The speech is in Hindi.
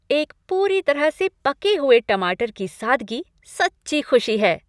एक पूरी तरह से पके हुए टमाटर की सादगी सच्ची खुशी है।